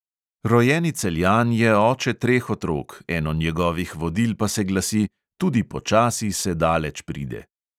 Rojeni celjan je oče treh otrok, eno od njegovih vodil pa se glasi: "tudi počasi se daleč pride."